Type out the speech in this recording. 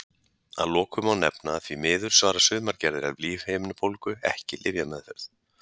Að lokum má nefna að því miður svara sumar gerðir af lífhimnubólgu ekki lyfjameðferð.